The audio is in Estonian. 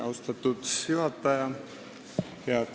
Austatud juhataja!